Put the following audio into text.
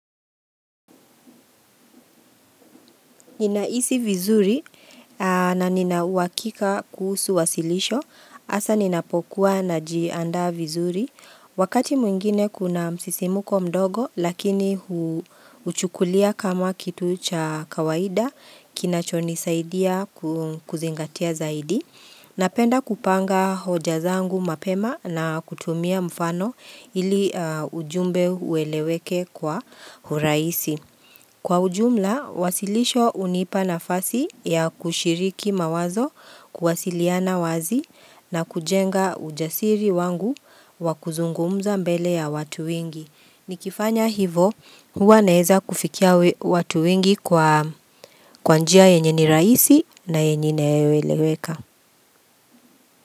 Nina hisi vizuri na ninauhakika kuhusu wasilisho hasa ninapokuwa na jiandaa vizuri wakati mwingine kuna msisimuko mdogo lakini huchukulia kama kitu cha kawaida kinacho ni saidia kuzingatia zaidi na penda kupanga hoja zangu mapema na kutumia mfano ili ujumbe ueleweke kwa urahisi. Kwa ujumla, wasilisho hunipa nafasi ya kushiriki mawazo kuwasiliana wazi na kujenga ujasiri wangu wa kuzungumza mbele ya watu wengi. Nikifanya hivo, huwa naeza kufikia watu wengii kwa kwa njia yenye ni rahisi na yenye inayo eleweka.